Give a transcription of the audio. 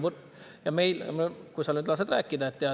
Ehk sa nüüd lased rääkida.